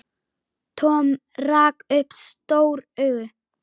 Tom rak upp stór augu.